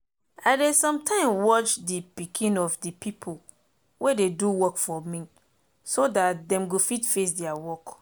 i dey some time watch de pikin of de pipo wey dey do work for me so dat dem go fit face deir work